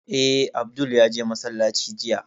Eh, Abdul ya je masallaci jiya